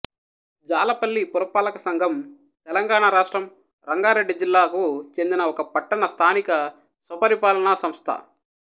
జాలపల్లి పురపాలకసంఘం తెలంగాణ రాష్ట్రం రంగారెడ్డి జిల్లాకు చెందిన ఒక పట్టణ స్థానిక స్వపరిపాలన సంస్థ